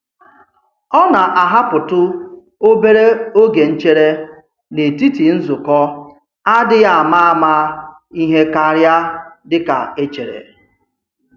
Ọ na-ahapụtụ obere oge nchere n'etiti nzukọ adịghị ama ama ihe karịa dịka e chere.